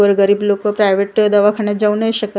गोरगरीब लोकं प्रायव्हेट दवाखान्यात जाऊ नाही शकत.